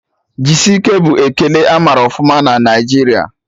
Jisike' bụ ekele amara ọfụma na Naijiria